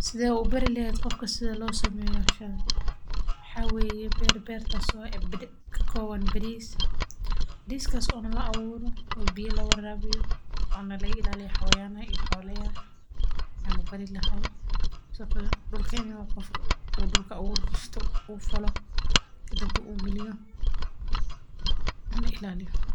Sidee ubari leheed qofka sida loo sameeyo howshan waxaa waye beer oo ka kooban bariis oo dulka lafalo kadambe uu galiyo.